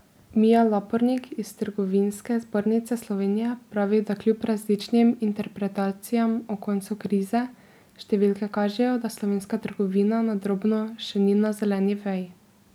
Mija Lapornik iz Trgovinske zbornice Slovenije pravi, da kljub različnim interpretacijam o koncu krize, številke kažejo, da slovenska trgovina na drobno še ni na zeleni veji.